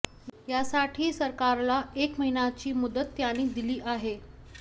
यासाठी सरकारला एक महिन्याची मुदत त्यांनी दिली आहे